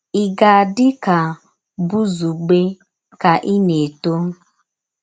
Ì gà-ádì ka Bùzugbè ka ì na-ètò?